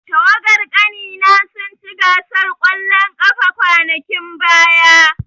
Tawagar ƙanina sun ci gasar ƙwallon ƙafa kwanakin baya.